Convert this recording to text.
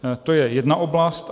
To je jedna oblast.